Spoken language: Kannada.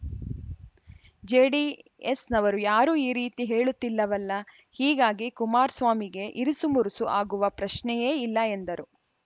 ಜೆಡಿಎಸ್‌ನವರು ಯಾರೂ ಈ ರೀತಿ ಹೇಳುತ್ತಿಲ್ಲವಲ್ಲ ಹೀಗಾಗಿ ಕುಮಾರಸ್ವಾಮಿಗೆ ಇರುಸು ಮುರುಸು ಆಗುವ ಪ್ರಶ್ನೆಯೇ ಇಲ್ಲ ಎಂದರು